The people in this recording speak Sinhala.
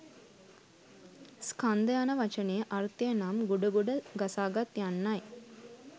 ස්කන්ධ යන වචනයේ අර්ථය නම් ගොඩ ගොඩ ගසාගත් යන්නයි.